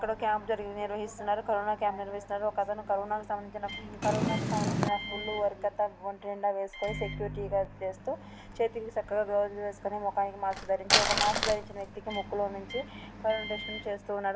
ఇక్కడ క్యాంపు జరిగి నిర్వహిస్తున్నారు. కరోనా క్యాంప్ని ర్వహిస్తున్నారు. ఒక అతను కరోనా సంబంధించిన కరోనా కు సంబంధించిన ఫుల్ వర్క్ అంతా ఒంటి నిండా వేసుకొని సెక్యూరిటీ వర్క్ చేస్తూ చేతికి సక్క గా గ్లోవ్జులు వేసుకొని మొహానికి మాస్క్ ధరించి ఒక మాస్క్ ధరించిన వ్యక్తి కి ముక్కులో నుంచి కరోనా టెస్ట్ను చేస్తున్నాడు.